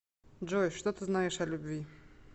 джой что ты знаешь о любви